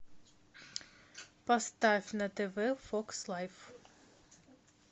поставь на тв фокс лайф